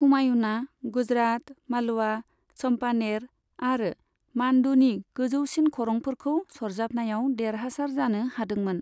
हुमायूनआ गुजरात, मालवा, चम्पानेर आरो मान्डूनि गोजौसिन खरंफोरखौ सरजाबनायाव देरहासार जानो हादोंमोन।